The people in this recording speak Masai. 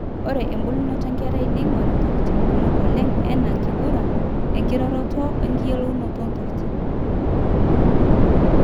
ore embulunoto enkerai neing'or intokitin kumok oleng enaa, enkiguran, enkiroroto eyiolounoto oontokitin